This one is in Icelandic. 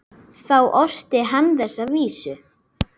Þá orti hann þessa vísu